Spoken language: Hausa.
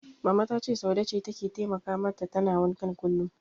Mama ta ce Saude ce take taimaka mata tana wankan kullum.